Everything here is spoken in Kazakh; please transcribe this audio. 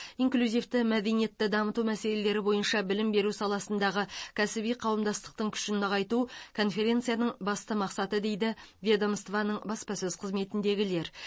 инклюзивті мәдениетті дамыту мәселелері бойынша білім беру саласындағы кәсіби қауымдастықтың күшін нығайту конференцияның басты мақсаты дейді ведомствоның баспасөз қызметіндегілер